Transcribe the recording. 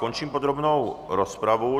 Končím podrobnou rozpravu.